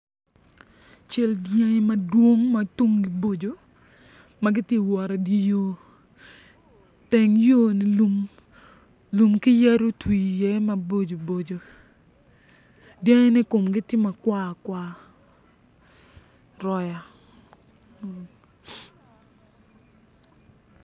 Cal madwong ma tumgi boco ma giti wot i di yo teng yo-ni lum lum ki yadi otwi iye maboco boco dyangine komgi tye makwa kwa roya